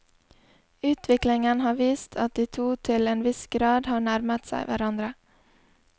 Utviklingen har vist at de to til en viss grad har nærmet seg hverandre.